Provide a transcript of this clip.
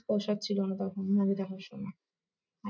ঐসব ছিল না তখন movie দেখার সময়।